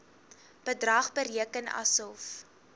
bedrag bereken asof